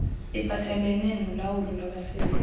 iphathelelene nolawulo lwabasebenzi